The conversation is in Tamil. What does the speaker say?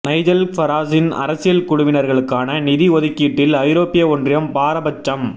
நைஜல் ஃபராஜின் அரசியல் குழுவினர்களுக்கான நிதி ஒதுக்கீட்டில் ஐரோப்பிய ஒன்றியம் பாரபட்சம்